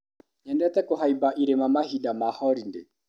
Nyendete kũhaimba irĩma mahinda ma horindĩ.